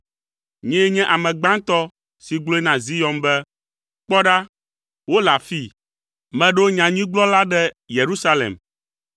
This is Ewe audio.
Nyee nye ame gbãtɔ si gblɔe na Zion be, ‘Kpɔ ɖa, wole afii!’ Meɖo nyanyuigblɔla ɖe Yerusalem.